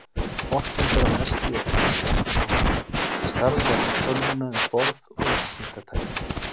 Orkan fer að mestu í að knýja jeppann áfram, starfrækja tölvuna um borð og vísindatækin.